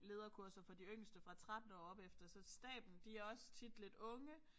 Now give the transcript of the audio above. Lederkurser for de yngste fra 13 år og opefter så staben de også tit lidt unge